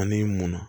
Ani munna